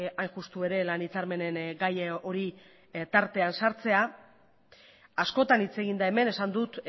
hain justu ere lan hitzarmenen gai hori tartean sartzea askotan hitz egin da hemen esan dut